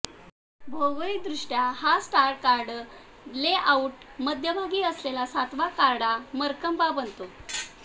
भौगोलिकदृष्ट्या हा star card layout मध्यभागी असलेला सातवा कार्डा मर्कबा बनतो